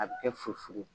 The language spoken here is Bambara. A bɛ kɛ fusuli ye